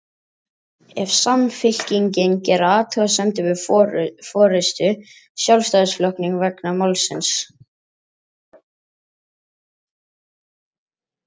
En hyggst Samfylkingin gera athugasemdir við forystu Sjálfstæðisflokksins vegna málsins?